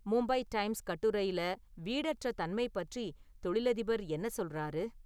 Mumbai Times கட்டுரையில வீடற்ற தன்மை பற்றி தொழிலதிபர் என்ன சொல்றாரு